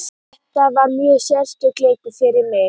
Þetta var mjög sérstakur leikur fyrir mig.